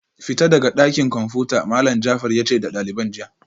Fita daga dakin komfuta Malam Jafar yace da daliban jiya